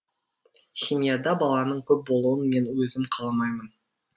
семьяда баланың көп болуын мен өзім қаламаймын